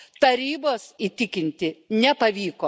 Tarybos įtikinti nepavyko.